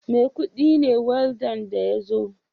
Maikudi ne waldan da ya zo